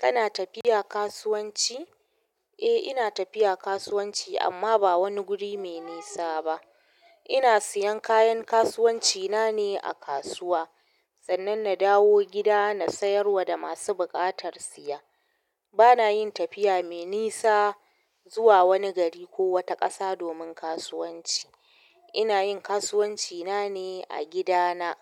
Kana tafiya kasuwanci? Eh, ina tafiya kasuwanci amma ba wani guri mai nisa ba. Ina siyan kayan kasuwanci na ne a kasuwa sannan na dawo gida na sayar wa da masu buƙatar siya. Bana yin tafiya mai nisa zuwa wani gari ko wata ƙasa domin kasuwanci. Ina yin kasuwanci na ne a gida na,